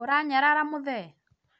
ũranyarara mũthee?